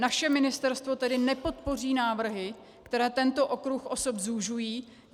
Naše ministerstvo tedy nepodpoří návrhy, které tento okruh osob zužují.